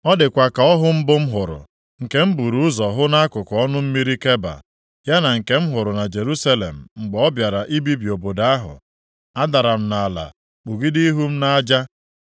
Ọ dịkwa ka ọhụ mbụ m hụrụ, nke m buru ụzọ hụ nʼakụkụ ọnụ mmiri Keba, ya na nke m hụrụ na Jerusalem mgbe ọ bịara ibibi obodo ahụ. Adara m nʼala kpugide ihu m nʼaja.